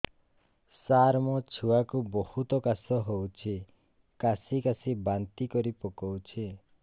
ସାର ମୋ ଛୁଆ କୁ ବହୁତ କାଶ ହଉଛି କାସି କାସି ବାନ୍ତି କରି ପକାଉଛି